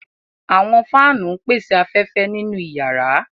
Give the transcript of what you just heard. Àwọn fáanu ńpese afẹfẹ ninu yàra.